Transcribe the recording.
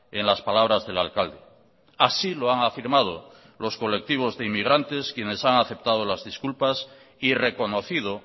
en las palabras del alcalde así lo han afirmado los colectivos de inmigrantes quienes han aceptado las disculpas y reconocido